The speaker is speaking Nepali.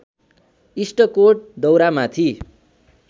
इस्टकोट दौरामाथि